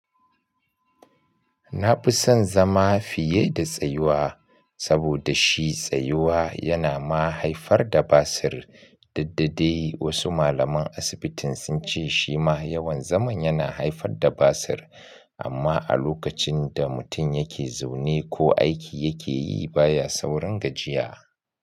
Na fi son zama fiye da tsayuwa, saboda shi tsayuwa yana ma haifar da basir. Duk da dai wasu malaman asibitin sun ce shi ma yawan zaman yana haifar da basir amma a lokacin da mutum yake zaune ko aiki yake yi baya saurin gajiya.